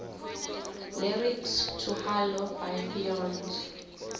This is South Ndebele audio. lyrics to halo by beyonce